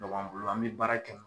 Dɔgɔ b'an bolo an mi baara kɛ ni